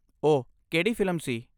ਉਹ ਕਿਹੜੀ ਫਿਲਮ ਸੀ?